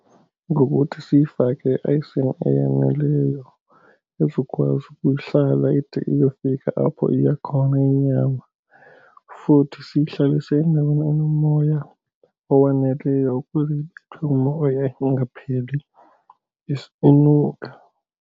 Ngokuthi siyifake eaysini eyaneleyo ezokwazi ukuhlala ide iyofika apho iya khona inyama. Futhi siyihlalise endaweni enomoya owaneleyo ukuze ibethwe ngumoya ingapheli inuka.